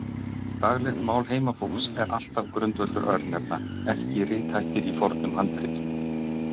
Daglegt mál heimafólks er alltaf grundvöllur örnefna, ekki rithættir í fornum handritum.